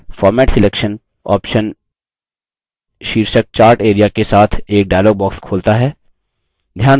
format selection option शीर्षक chart area के साथ एक dialog box खोलता है